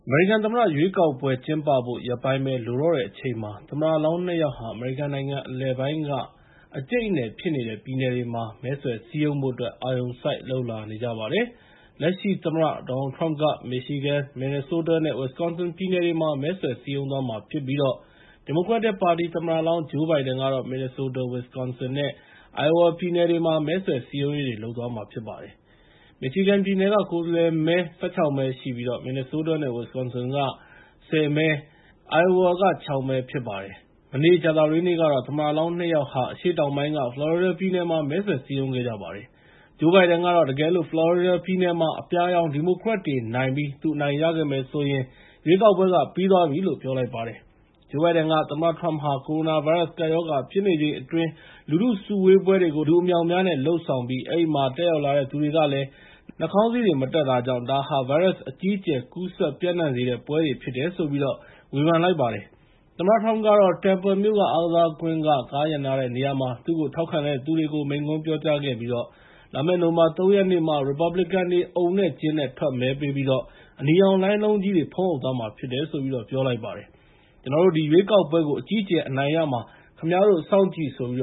မေရိကန်သမ္မတရွေးကောက်ပွဲ ကျင်းပဖို့ ရက်ပိုင်းပဲ လိုတော့တဲ့အချိန်မှာ သမ္မတလောင်း နှစ် ယောက်ဟာ အမေရိကန်နိုင်ငံ အနောက်အလယ်ပိုင်းက အကြိတ်အနယ်ဖြစ်နေတဲ့ ပြည်နယ်တွေမှာ မဲဆွယ်စည်းရုံဖို့အတွက် အာရုံစိုက်လုပ်လာနေကြပါတယ်။ လက်ရှိသမ္မတ ဒေါ်နယ်လ်ထရမ့်က Michigan, Minnesota နဲ့ Wisconsin ပြည်နယ်တွေမှာ မဲဆွယ်စည်းရုံးသွားမှာဖြစ်ပြီး ဒီမိုကရက်တစ်သမ္မတလောင်း ဂျိုးဘိုင်ဒန်ကတော့ Minnesota, Winconsin နဲ့ Iowa ပြည်နယ်တွေမှာ မဲဆွယ်စည်းရုံးရေးတွေ လုပ်သွားမှာဖြစ်ပါတယ်။ Michigan ပြည်နယ်က ကိုယ်စားလှယ်မဲ ၁၆ မဲ ရှိပြီး Minnesota နဲ့ Wisconsin ပြည်နယ်တွေက ကိုယ်စားလှယ်မဲ ၁၀၊ Iowa က ၆ မဲ ဖြစ်ပါတယ်။ မနေ့ကြာသပတေးနေ့ကတော့ သမ္မတလောင်း နှစ် ယောက်ဟာ အရှေ့တောင်ပိုင်းက ဖလော်ရီဒါပြည်နယ်မှာ မဲဆွယ်စည်းရုံးခဲ့ကြပါတယ်။ ဂျိုးဘိုင်ဒန်ကတော့ တကယ်လို့ ဖလော်ရီဒါပြည်နယ်မှာသာ သူအနိုင်ရမယ်ဆိုရင် ရွေးကောက်ပွဲနိုင်ပြီပဲလို့ ပြောပါတယ်။ သမ္မတထရမ့်ဟာ ကိုရိုနာဗိုင်းရပ်စ် ကပ်ရောဂါဖြစ်နေချိန်အတွင်း လူထုစုဝေးပွဲတွေကို လူအမြောက်အများနဲ့ လုပ်ဆောင်ပြီး အဲဒီမှာ တက်ရောက်လာတဲ့သူတွေကလည်း နှာခေါင်စည်းတွေမတပ်ကြတဲ့အတွက် ဒါဟာ ဗိုင်းရပ်စ် အကြီးအကျယ်ကူးစက်ပျံ့နှံ့စေတဲ့ပွဲတွေ ဖြစ်တယ်လို့ ဂျိုးဘိုင်ဒန်က ဝေဖန်ုပါတယ်။ သမ္မတထရမ့်ကတော့ Tampa မြို့ အားကစားကွင်း ကားရပ်နားတဲ့နေရာမှာ သူ့ကို ထောက်ခံသူတွေကို မိန့်ခွန်းပြောကြားခဲ့ပြီး လာမယ့် နိုဝင်ဘာ ၃ ရက်နေ့မှာ ရီပတ်ဘလစ်ကန်တွေ အုံနဲ့ကျင်းနဲ့ ထွက်မဲပေးပြီးတော့ အနီရောင်လှိုင်းလုံးကြီးတွေ ဖုံးအုပ်သွားမှာဖြစ်တယ်လို့ပြောပါတယ်။ ကျနော်တို့ ဒီရွေးကောက်ပွဲကို အကြီးအကျယ်အနိုင်ရမှာ ခင်ဗျားတို့ စောင့်ကြည့်ဆိုပြီး